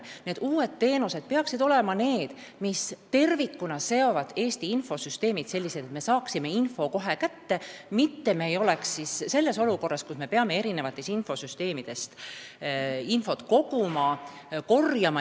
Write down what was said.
Need uued teenused eeldavad, et Eesti infosüsteemid on tervikuna seotud selliselt, et me saame vajaliku info kohe kätte, mitte ei pea eri süsteemidest teavet koguma.